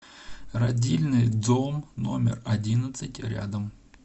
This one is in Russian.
родильный дом номер одиннадцать рядом